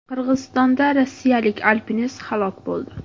Qirg‘izistonda rossiyalik alpinist halok bo‘ldi.